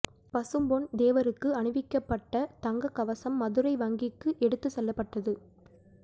பசும்பொன் தேவருக்கு அணிவிக்கப்பட்ட தங்க கவசம் மதுரை வங்கிக்கு எடுத்து செல்லப்பட்டது